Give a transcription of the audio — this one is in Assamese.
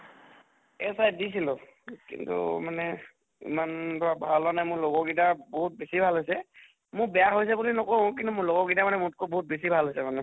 SI দিছিলো কিন্তু মানে ইমান ভাল হোৱা নাই মোৰ লগৰ গিটা বহুত বেছি ভাল হৈছে। মোৰ বেয়া হৈছে বুলি নকওঁ, কিন্তু মোৰ লগৰ গিটাই মানে মোতকৈও বহুত বেছি ভাল হৈছে মানে।